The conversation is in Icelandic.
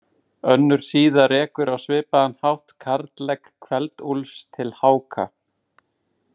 Önnur síða rekur á svipaðan hátt karllegg Kveld-Úlfs til Háka.